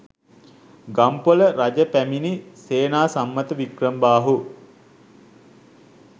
ගම්පොළ රජ පැමිණි සේනාසම්මත වික්‍රමබාහු